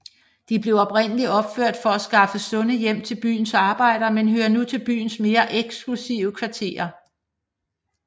De blev oprindeligt opført for at skaffe sunde hjem til byens arbejdere men hører nu til byens mere eksklusive kvarterer